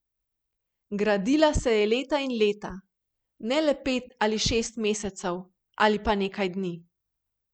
Gradila se je leta in leta, ne le pet ali šest mesecev ali pa nekaj dni.